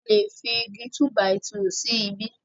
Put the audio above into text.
alè fí Igi túbàìtuù sí ìbi